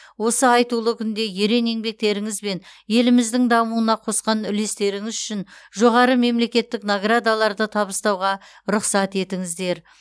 осы айтулы күнде ерен еңбектеріңіз бен еліміздің дамуына қосқан үлестеріңіз үшін жоғары мемлекеттік наградаларды табыстауға рұқсат етіңіздер